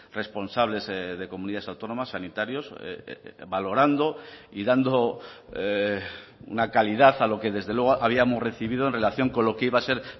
responsables de comunidades autónomas sanitarios valorando y dando una calidad a lo que desde luego habíamos recibido en relación con lo que iba a ser